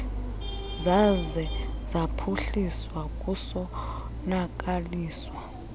zaze zaphuhliswa kusonakaliswa